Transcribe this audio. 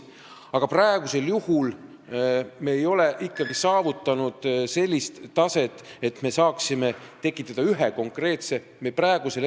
Aga praegu ei ole me ikkagi saavutanud sellist taset, et me saaksime tekitada ühe konkreetse ringkonna.